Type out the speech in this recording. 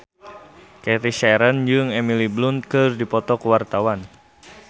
Cathy Sharon jeung Emily Blunt keur dipoto ku wartawan